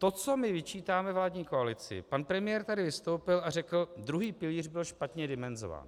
To, co my vyčítáme vládní koalici - pan premiér tady vystoupil a řekl "druhý pilíř byl špatně dimenzován".